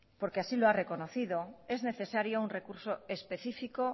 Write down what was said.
porque así lo ha reconocido es necesario un recurso específico